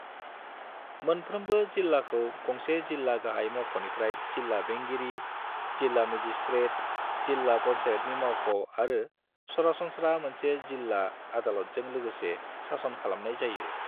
मोनफ्रोमबो जिल्लाखौ गंसे जिल्ला गाहाय मावख'निफ्राय जिल्ला बेंगिरि, जिल्ला मेजिस्ट्रेट, जिल्ला पंचायतनि मावख' आरो सरासनस्रा मोनसे जिल्ला आदालतजों लोगोसे सासन खालामनाय जायो।